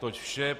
Toť vše.